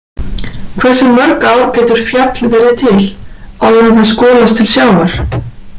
Hversu mörg ár getur fjall verið til, áður en það skolast til sjávar?